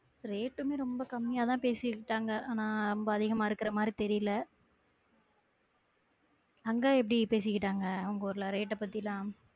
Rate உமே ரொம்ப கம்மியாதான் பேசிக்கிட்டாங்க ஆனா ரொம்ப அதிகமா இருக்குற மாறி தெரியல அங்க எப்படி பேசிக்கிட்டாங்க உங்க ஊர்ல rate அ பத்தி எல்லாம்